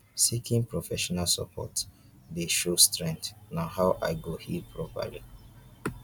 seeking professional support dey show strength na how i go heal properly